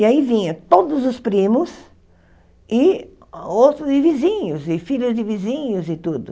E aí vinha todos os primos e outros e vizinhos e filhos de vizinhos e tudo.